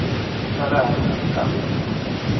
xa le hansi kambe hi